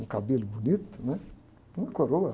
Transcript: Um cabelo bonito, né? Uma coroa.